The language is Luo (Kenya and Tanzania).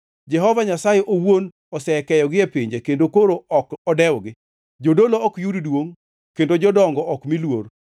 Jehova Nyasaye owuon osekeyogi e pinje; kendo koro ok odewgi. Jodolo ok yud duongʼ, kendo jodongo ok mi luor.